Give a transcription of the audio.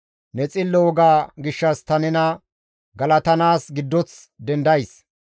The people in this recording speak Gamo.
Ne xillo woga gishshas ta nena galatanaas giddoth dendays.